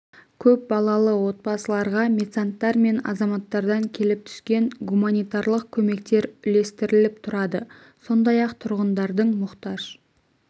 көп балалы отбасыларға меценаттар мен азаматтардан келіп түскен гуманитарлық көмектер үлестіріліп тұрады сондай-ақ тұрғындардың мұқтаж